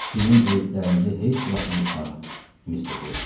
Sizin öyüdlərinizi heç vaxt unutmaram, Mister Wilson.